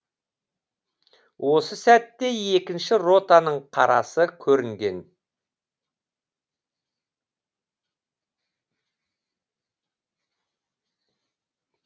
осы сәтте екінші ротаның қарасы көрінген